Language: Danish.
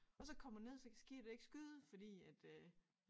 Og så kommer ned så kan skibet ikke skyde fordi at øh